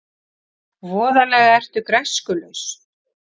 Voðalega ertu græskulaus.